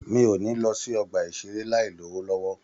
Mi o ni lọ sí ọgbà isere láì lowo lọwọ.